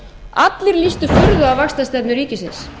allir lýstu furðu á vaxtastefnu ríkisins